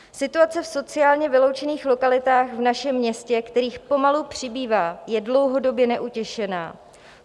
"Situace v sociálně vyloučených lokalitách v našem městě, kterých pomalu přibývá, je dlouhodobě neutěšená.